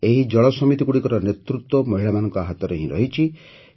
ଏହି ଜଳ ସମିତିଗୁଡ଼ିକର ନେତୃତ୍ୱ ମହିଳାମାନଙ୍କ ହାତରେ ହିଁ ରହିଛି